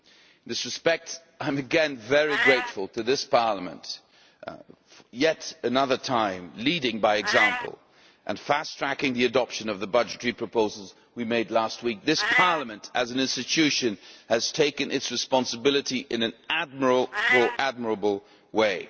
In this respect, I am again very grateful to this Parliament, yet again leading by example and fast tracking the adoption of the budgetary proposals we made last week. This Parliament as an institution has assumed its responsibility in an admirable way.